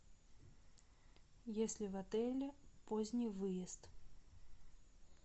есть ли в отеле поздний выезд